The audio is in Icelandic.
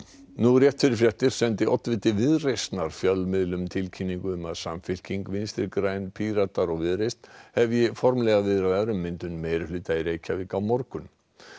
nú rétt fyrir fréttir sendi oddviti Viðreisnar fjölmiðlum tilkynningu um að Samfylking Vinstri græn Píratar og Viðreisn hefji formlegar viðræður um myndun meirihluta í Reykjavík á morgun